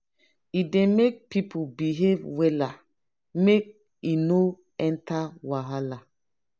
e dey make people behave wella make e no enter wahala.